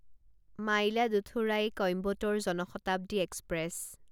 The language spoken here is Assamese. মাইলাদুথুৰাই কইম্বটোৰ জন শতাব্দী এক্সপ্ৰেছ